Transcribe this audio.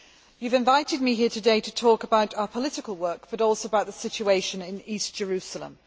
You have invited me here today to talk about our political work, but also about the situation in East Jerusalem.